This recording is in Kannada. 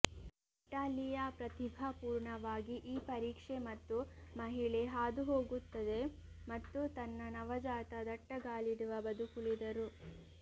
ನಟಾಲಿಯಾ ಪ್ರತಿಭಾಪೂರ್ಣವಾಗಿ ಈ ಪರೀಕ್ಷೆ ಮತ್ತು ಮಹಿಳೆ ಹಾದು ಹೋಗುತ್ತದೆ ಮತ್ತು ತನ್ನ ನವಜಾತ ದಟ್ಟಗಾಲಿಡುವ ಬದುಕುಳಿದರು